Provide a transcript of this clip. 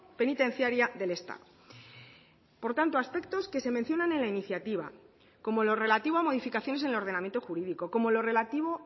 penitenciaria del estado por tanto aspectos que se mencionan en la iniciativa como lo relativo a modificaciones en el ordenamiento jurídico como lo relativo